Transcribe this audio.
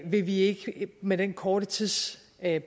vil vi ikke med den korte tidsbane